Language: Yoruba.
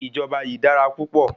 Ìjọba yìí dára púpọ̀.